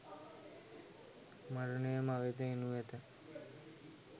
මරණය මවෙත එනු ඇත